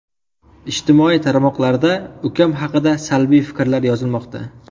Ijtimoiy tarmoqlarda ukam haqida salbiy fikrlar yozilmoqda.